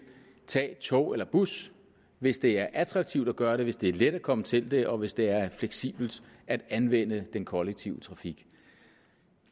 tage tog eller bus hvis det er attraktivt at gøre det hvis det er let at komme til det og hvis det er fleksibelt at anvende den kollektive trafik